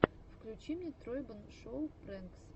включи мне тройбэн шоу прэнкс